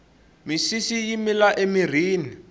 misisi yi mila emirhini